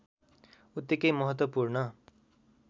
उत्तिकै महत्त्वपूर्ण